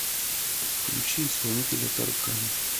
включи исполнителя таркан